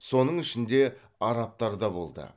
соның ішінде арабтар да болды